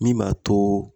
Min b'a to